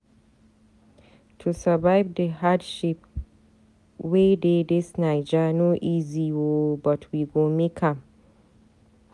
To survive di hardship wey dey dis naija no easy o but we go make am.